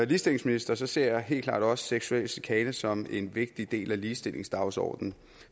ligestillingsminister ser jeg helt klart også seksuel chikane som en vigtig del af ligestillingsdagsordenen